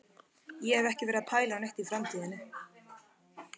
Ég hef ekki verið að pæla neitt í framtíðinni.